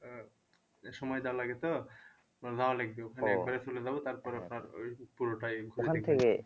আহ সময় দেওয়া লাগে তো আমার যাওয়া লাগবে চলে যাবো তারপরে আপনার ওই পুরোটাই